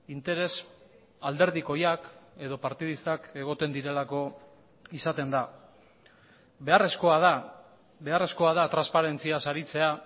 interes alderdikoiak edo partidistak egoten direlako izaten da beharrezkoa da beharrezkoa da transparentziaz aritzea